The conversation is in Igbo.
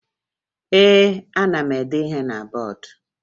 Ee, ana m ede ihe na bọọdụ